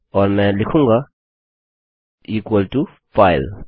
और मैं लिखूँगा इक्वल टो फाइल